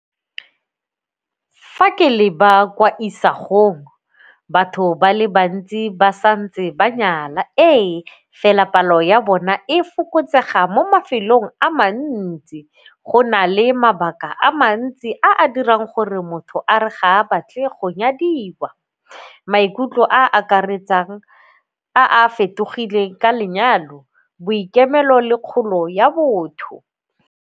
Fa ke le ba kwa isagong batho ba le bantsi ba sa ntse ba nyala ee, fela palo ya bona e fokotsega mo mafelong a mantsi go nale mabaka a mantsi a a dirang gore motho a re ga a batle go nyadiwa. Maikutlo a a akaretsang a a fetogileng ka lenyalo, boikemelo le kgolo ya botho.